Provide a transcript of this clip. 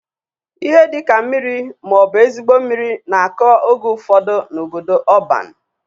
Ihe dị ka mmiri ma ọ bụ ezigbo mmiri na-akọ oge ufodu n'obodo ọban.